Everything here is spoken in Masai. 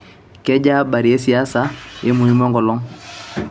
kejaa abari e siasa e muhimu enkolong'